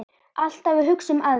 Alltaf að hugsa um aðra.